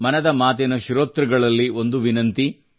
ಮನದ ಮಾತಿನ ಶ್ರೋತೃಗಳಲ್ಲಿ ಒಂದು ವಿನಂತಿಯಿದೆ